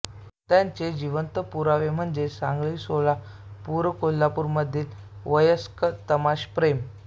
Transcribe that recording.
त्याचे जिवंत पुरावे म्हणजे सांगलीसोलापुरकोल्हापुर मधील वयस्क तमाशाप्रेमी